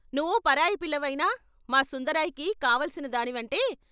నువ్వు పరాయి పిల్లవైనా మా సుందరాయికి కావలసిన దానిని అంటే.